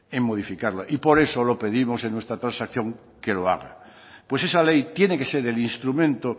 en modificarla y por eso lo pedimos en nuestra transacción que lo haga pues esa ley tiene que ser el instrumento